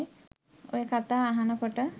ඔය කතා අහන කොට